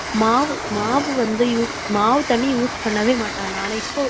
மாவு, மாவு வந்து use மாவு தண்ணி use பண்ணவே மாட்டாங்க, ஆனா இப்போ